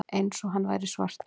Eins og hann væri svartur.